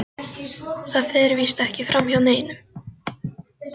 Það fer víst ekki framhjá neinum.